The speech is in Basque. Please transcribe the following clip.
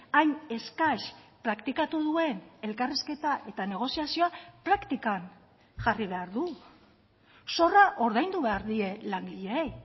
hain eskas praktikatu duen elkarrizketa eta negoziazioa praktikan jarri behar du zorra ordaindu behar die langileei